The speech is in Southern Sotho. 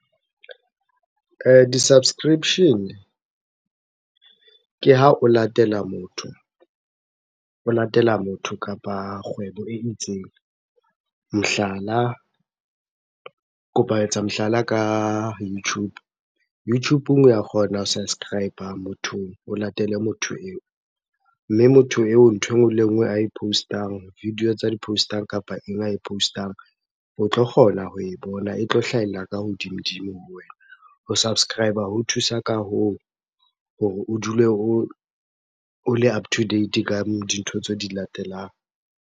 Di-subscription-e ke ha o latela motho kapa kgwebo e itseng. Mohlala, kopa etsa mohlala ka YouTube. Youtube-ng wa kgona ho subscriber mothong, o latele motho eo. Mme motho eo ntho e nngwe le e nngwe ae post-ang, video tsa di-post-ang kapa eng ae postang. O tlo kgona ho e bona, e tlo hlahella ka hodimodimo ho wena. Ho subscriber ho thusa ka hoo, hore o dule o le up to date ka dintho tseo di latelang.